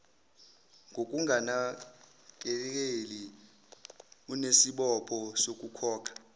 ngokunganakeleli unesibopho sokukhokha